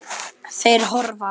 Þeir hörfa.